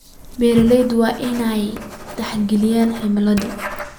Beeralayda waa in ay tixgeliyaan cimilada.